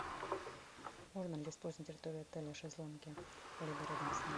можно ли использовать на территории отеля шезлонги либо рядом с ним